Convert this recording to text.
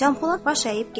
Canpolad baş əyib getdi.